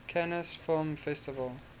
cannes film festival